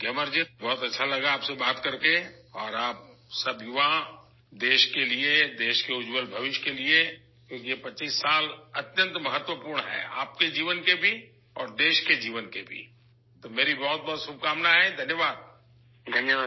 گیامر جی، آپ سے بات کرتے ہوئے بہت خوشی ہوئی اور آپ سبھی نوجوانوں کو ملک کے لیے، ملک کے تابناک مستقبل کے لیے، کیونکہ یہ 25 سال بہت اہم ہیں آپ کی زندگی کے ساتھ ساتھ ملک کی زندگی میں بھی ، تو میری بہت بہت نیک خواہشات ، شکریہ